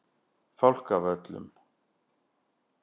Fálkavöllum